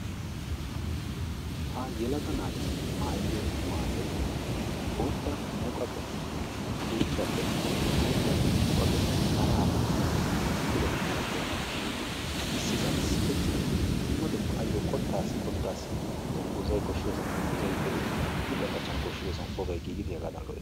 Ha yelaga naati maayidi naayoyi bootta muqaqe puuttuwappenne bootta muqaqe hara hara dumma dumma kire malatiyabati shiiqidi issisan sikettidi dumma dumma ayyo qottaassi qottaassi dungguzzayi koshshiyosan dungguzzayi gelidi huuphiyan qachchana koshshiyosan ubbabayi giigidi hagaadan lo"es.